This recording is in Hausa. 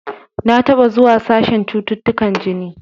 Na taɓa zuwa sashen cututtukan jini.